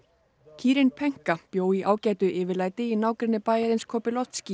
kýrin bjó í ágætu yfirlæti í nágrenni bæjarins